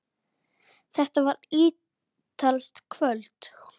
Þetta var ítalskt kvöld.